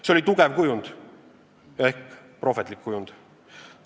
See oli tugev kujund ja ehk prohvetlik kujund.